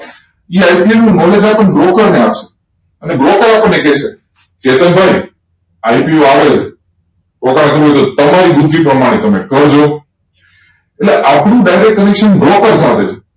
એ IPO નો knowledge આપણ ને broker ને આપ્સુ અને broker આપણ ને કેસે કેતન ભાઈ IPO આવે છે રોન કરવું હોય તો તમારી ભૂધિ પ્રમાણે તમે કરજો એટલે આપણું direct connection broker સાથે હોય